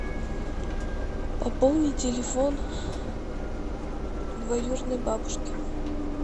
пополни телефон двоюродной бабушки